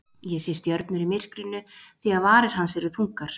Ég sé stjörnur í myrkrinu því að varir hans eru þungar.